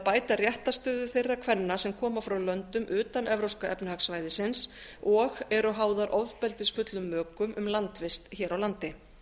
bæta réttarstöðu þeirra kvenna sem koma frá löndum utan e e s og eru háðar ofbeldisfullum mökum um landvist hér á landi